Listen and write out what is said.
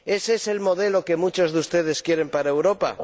¿Ese es el modelo que muchos de ustedes quieren para Europa?